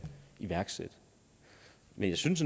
iværksætte men jeg synes